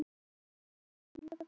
Það var fullkomnað.